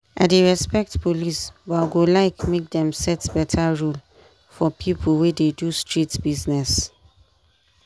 i dey respect police but i go like make dem set better rule for people wey dey do street business.